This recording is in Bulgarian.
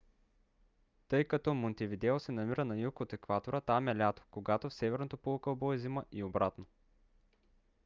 тъй като монтевидео се намира на юг от екватора там е лято когато в северното полукълбо е зима и обратно